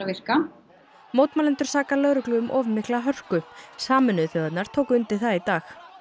virka mótmælendur saka lögreglu um of mikla hörku sameinuðu þjóðirnar tóku undir það í dag